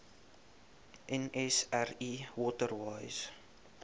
nsri water wise